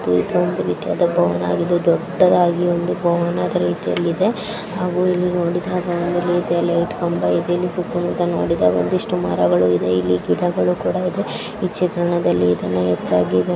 ಇದೊಂದು ರೀತಿಯಾದ ಭವನವಾಗಿದ್ದು ದೊಡ್ಡದಾಗಿ ಒಂದು ಭವನದ ರೀತಿಯಲ್ಲಿ ಇದೆ ಹಾಗು ಇಲ್ಲಿ ನೋಡಿದಾಗ ಒಂದು ರೀತಿಯ ಲೈಟ್ ಕಂಬ ಇದೆ ಇಲ್ಲಿ ಸುತ್ತ ಮುತ್ತ ನೋಡಿದಾಗ ಒಂದಿಷ್ಟ್ಟು ಮರಗಳು ಇದೆ ಇಲ್ಲಿ ಗಿಡಗಳು ಕೂಡಾ ಇದೆ ಈ ಚಿತ್ರಣದಲ್ಲಿ ಇದನ್ನ ಹೆಚ್ಚಾಗಿ --